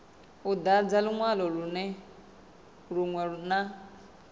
u dadza linwalo linwe na